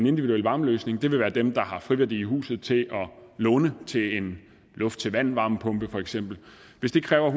individuel varmeløsning vil være dem der har friværdi i huset til at låne til en luft til vand varmepumpe for eksempel hvis det kræver